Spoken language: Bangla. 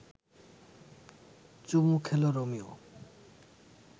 চুমু খেল রোমিও